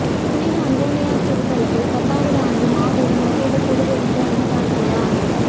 புனித அந்தோணியாா் திருத்தலத்தில் பத்தாவது ஆண்டு மாபெரும் அசைவ திருவிருந்து அன்னதான விழா